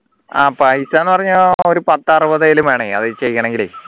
ആഹ് പൈസന്ന് പറഞ്ഞ ഒരു പത്തറുപതെലു വേണേ അത് ചെയ്യണങ്കിലെ